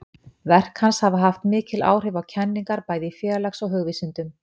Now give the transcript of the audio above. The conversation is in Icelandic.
Verk hans hafa haft mikil áhrif á kenningar bæði í félags- og hugvísindum.